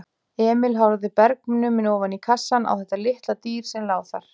Emil horfði bergnuminn oní kassann á þetta litla dýr sem lá þar.